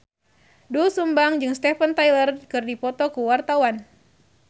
Doel Sumbang jeung Steven Tyler keur dipoto ku wartawan